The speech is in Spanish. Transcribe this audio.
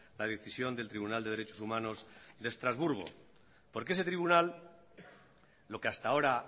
la decisión del tribunal de derechos humanos de estrasburgo porque ese tribunal lo que hasta ahora